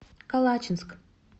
калачинск